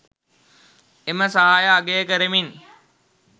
එම සහාය අගය කරමින්